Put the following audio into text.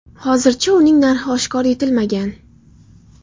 Hozircha uning narxi oshkor etilmagan.